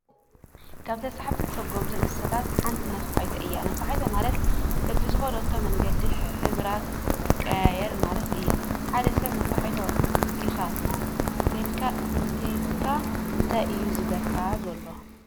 ካብ ተሳሓብትን ሰጎምትን እንስሳታት ሓንቲ ነፋሒቶ እያ፡፡ ነፋሒቶ ማለት በቢዝኸደቶ መንገዲ ሕብራ ትቀያየር ማለት እዩ፡፡ ሓደ ሰብ ነፋሒቶ ኢኻ እንተይሉካ እንታይ እዩ ዝብለካ ዘሎ?